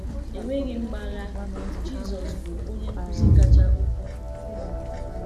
Enweghị mgbagha, Jisọs bụ Onye Nkuzi kacha ukwuu n’ụwa!